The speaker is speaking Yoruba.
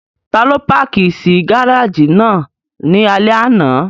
Ta ló páàkì sí gáràjì náà ní alẹ́ àná?